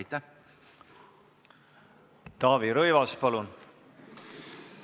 Taavi Rõivas, palun!